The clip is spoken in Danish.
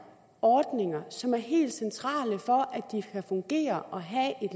ordninger som er helt centrale for at de kan fungere og have